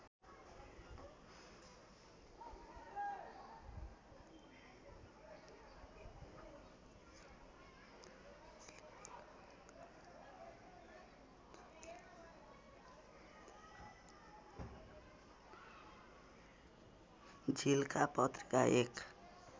झिल्का पत्रिका एक